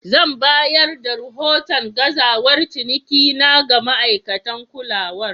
Zan bayar da rahoton gazawar cinikina ga ma'aikatan kulawar.